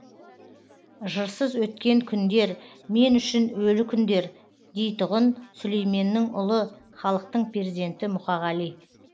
жырсыз өткен күндер мен үшін өлі күндер дейтұғын сүлейменнің ұлы халықтың перзенті мұқағали